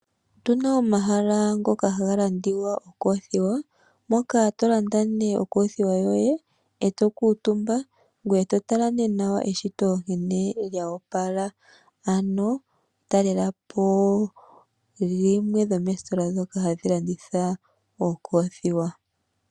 Otuna omahala ngoka haga landwa okoothiwa moka tolanda okoothiwa koye ee tokuutumba ngoye totala nee nawa eshito la opala ano talelapo limwe dhomoositola dhoka hadhi landitha okoothiwa.